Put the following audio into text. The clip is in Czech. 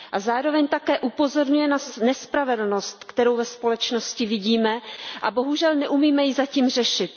Zároveň také upozorňuje na nespravedlnost, kterou ve společnosti vidíme a bohužel ji neumíme zatím řešit.